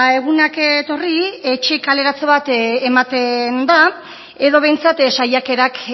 egunak etorri etxe kaleratze bat ematen da edo behintzat saiakerak